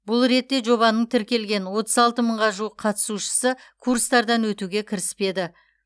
бұл ретте жобаның тіркелген отыз алты мыңға жуық қатысушысы курстардан өтуге кіріспеді